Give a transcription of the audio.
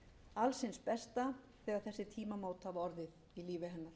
alls hins besta þegar þessi tímamót hafa orðið í lífi hennar